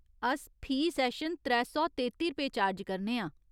अस फी सैशन त्रै सौ तेत्ती रपेऽ चार्ज करने आं।